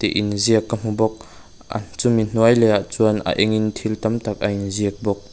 in ziak ka hmu bawk a chumi hnuai leh a chuan a engin thil tam tak a in ziak bawk.